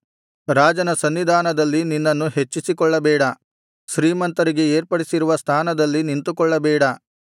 ರಾಜನ ಸನ್ನಿಧಾನದಲ್ಲಿ ನಿನ್ನನ್ನು ಹೆಚ್ಚಿಸಿಕೊಳ್ಳಬೇಡ ಶ್ರೀಮಂತರಿಗೆ ಏರ್ಪಡಿಸಿರುವ ಸ್ಥಾನದಲ್ಲಿ ನಿಂತುಕೊಳ್ಳಬೇಡ